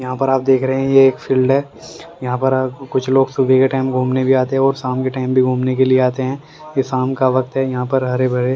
यहां पर आप देख रहे हैं यह फील्ड है यहां पर आपको कुछ लोग सुबह का टाइम घूमने भी आते हैं और शाम के टाइम भी घूमने के लिए आते हैं ये शाम का वक्त है यहां पर हरे भरे--